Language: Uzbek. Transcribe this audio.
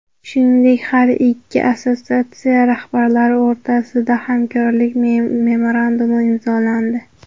Shuningdek, har ikki assotsiatsiya rahbarlari o‘rtasida hamkorlik memorandumi imzolandi.